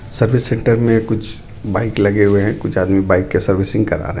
service centre में कुछ bike लगे हुए हैं कुछ आदमी बाइक के सर्विसिंग करा रहे --